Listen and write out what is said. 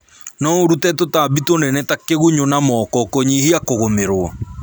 No ũrũte tũtambi tũnene ta kĩgunyu na moko kũnyihia kũgũmĩrwo